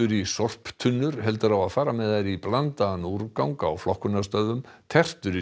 í sorptunnur heldur á að fara með þær í blandaðan úrgang á flokkunarstöðvum tertur í